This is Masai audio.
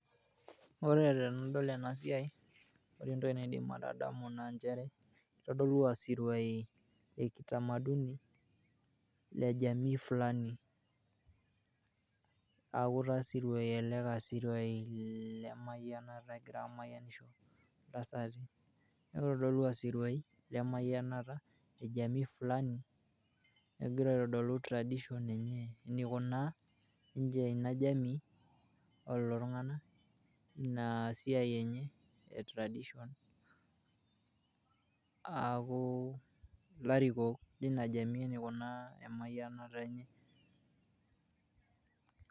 Ore tenadol ena siai naa ore entoki naidim atadamu naa nchere kitodolu aa siruai le kitamaduni le jamii fulani. Niaku taa isirua lemayianata egirai aamayianisho ntasati. Niaku itodolua isiruai lemayianata le jamii fulani. Egira aitodolu tradition enye enaikunaa ninche ina jamii o lelo tung`anak inasiai enye e tradition . Niaku ilarikok leina jamii enaikunaa emayianata enye.